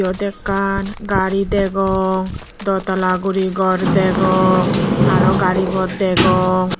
iyut ekkan gari degong di tala guri gor degong aro gari pod degong.